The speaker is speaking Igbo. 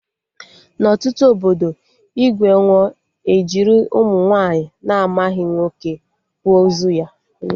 Na ọtụtụ obodo, igwe nwụọ, ejiri ụmụ nwaanyị na-amaghị nwoke kwa ozu ya